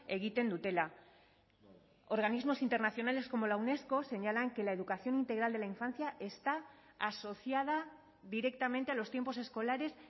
egiten dutela organismos internacionales como la unesco señalan que la educación integral de la infancia está asociada directamente a los tiempos escolares